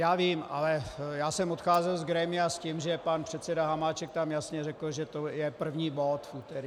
Já vím, ale já jsem odcházel z grémia s tím, že pan předseda Hamáček tam jasně řekl, že to je první bod v úterý.